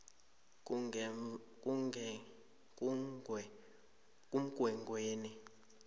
kumgwengweni